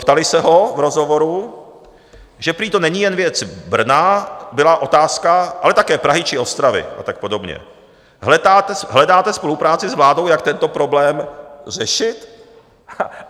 Ptali se ho v rozhovoru, že prý to není jen věc Brna - byla otázka - ale také Prahy či Ostravy a tak podobně: "Hledáte spolupráci s vládou, jak tento problém řešit?"